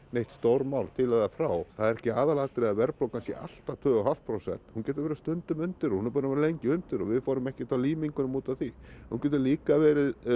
neitt stórmál til eða frá það er ekki aðalatriðið að verðbólgan sé alltaf tvö og hálft prósent hún getur verið stundum undir og hún er búin að vera lengi undir og við fórum ekkert á límingunum út af því hún getur líka verið